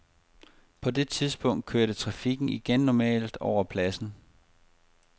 På det tidspunkt kørte trafikken igen normalt over pladsen.